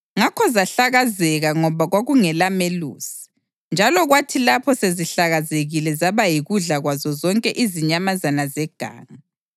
Ngakho zahlakazeka ngoba kwakungelamelusi, njalo kwathi lapho sezihlakazekile zaba yikudla kwazo zonke izinyamazana zeganga.